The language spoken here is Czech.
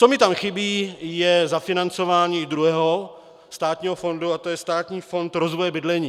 Co mi tam chybí, je zafinancování druhého státního fondu a to je Státní fond rozvoje bydlení.